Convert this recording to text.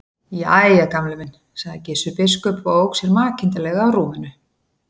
Jæja, Gamli minn sagði Gissur biskup og ók sér makindalega á rúminu.